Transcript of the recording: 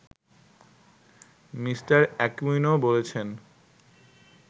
Me. Aquino বলেছেন